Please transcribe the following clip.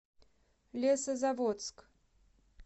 лесозаводск